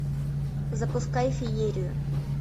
запускай феерию